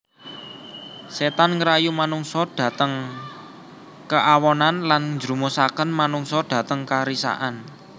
Setan ngrayu manungsa dhateng keawonan lan njrumusaken manungsa dhateng karisakan